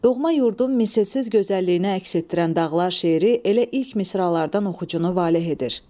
Doğma yurdun misilsiz gözəlliyini əks etdirən dağlar şeiri elə ilk misralardan oxucunu valeh edir.